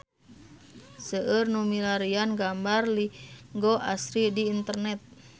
Seueur nu milarian gambar Linggo Asri di internet